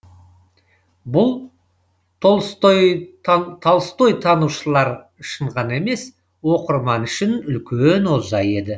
бұл толстойтанушылар үшін ғана емес оқырман үшін үлкен олжа еді